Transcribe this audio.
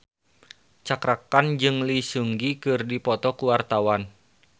Cakra Khan jeung Lee Seung Gi keur dipoto ku wartawan